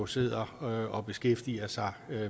sidder og beskæftiger sig